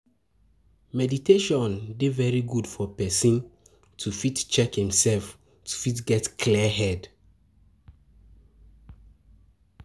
Meditation dey very good for person to fit check im self to fit get clear head